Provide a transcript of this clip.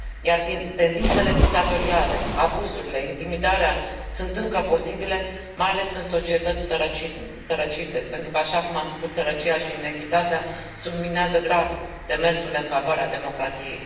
Iar tendințele dictatoriale, abuzurile, intimidarea sunt încă posibile, mai ales în societăți sărăcite, pentru că, așa cum am spus, sărăcia și inechitatea subminează grav demersul în favoarea democrației.